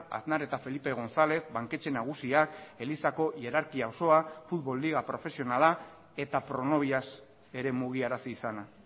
aznar eta felipe gonzález banketxe nagusiak elizako hierarkia osoa futbol liga profesionala eta pronovias ere mugiarazi izana